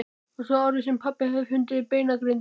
Og svo árið sem pabbi hafði fundið beinagrindina.